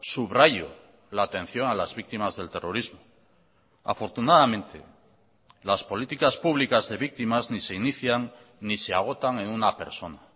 subrayo la atención a las víctimas del terrorismo afortunadamente las políticas públicas de víctimas ni se inician ni se agotan en una persona